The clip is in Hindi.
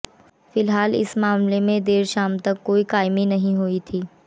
फिलहाल इस मामले में देर शाम तक कोई कायमी नहीं हुई थी